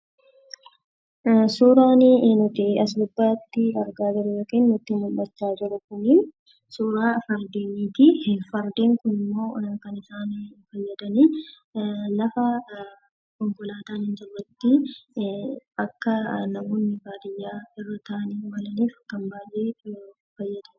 Suuraan nuti asirratti argaa jirru nutti mul'achaa jiru suuraa fardeeniiti. Fardeen kunimmoo lafa konkolaataan hin jirretti akka namoonni baadiyyaa irra taa'anii ittiin deemuuf fayyadamu.